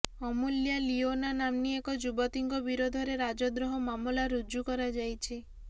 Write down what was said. ଅମୂଲ୍ୟା ଲିୟୋନା ନାମ୍ନୀ ଏହି ଯୁବତୀଙ୍କ ବିରୋଧରେ ରାଜଦ୍ରୋହ ମାମଲା ରୁଜୁ କରାଯାଇଛି